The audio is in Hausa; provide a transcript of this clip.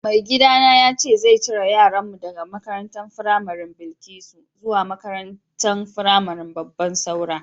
Mai gida na yace zai cire yaran mu daga makarantan firamarin Bilkisu zuwa makarantan firamarin Babban Saura.